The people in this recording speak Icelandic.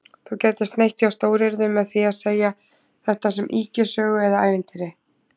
Þú gætir sneitt hjá stóryrðunum með því að segja þetta sem ýkjusögu eða ævintýri